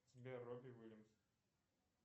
сбер робби уильямс